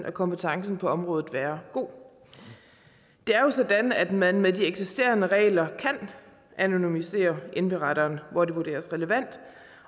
og kompetencen på området være god det er jo sådan at man med de eksisterende regler kan anonymisere indberetteren hvor det vurderes relevant